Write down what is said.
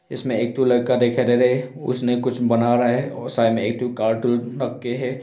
इसमें एक तो लड़का दिखाई दे रहा है उसने कुछ बना रहा है और साइड में एक तो कार्टून रख के है।